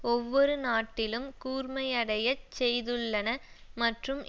ஒவ்வொரு நாட்டிலும் கூர்மையடையச் செய்துள்ளன மற்றும்